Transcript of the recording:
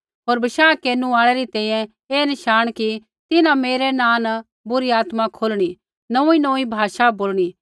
होर बशाह केरनु आल़ै री तैंईंयैं ऐ नशाण कि तिन्हां मेरै नाँ न बुरी आत्माएँ खोलणी नोंऊँईनोंऊँई भाषा बोलणी